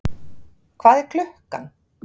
Hvað er klukkan?